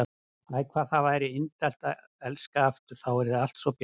Æ, hvað það væri indælt að elska aftur, þá yrði allt svo bjart.